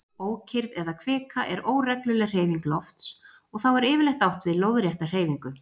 Ókyrrð eða kvika er óregluleg hreyfing lofts og þá er yfirleitt átt við lóðrétta hreyfingu.